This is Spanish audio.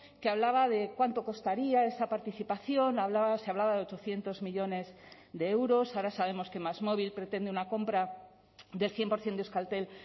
que hablaba de cuánto costaría esa participación hablaba se hablaba de ochocientos millónes de euros ahora sabemos que másmóvil pretende una compra del cien por ciento de euskaltel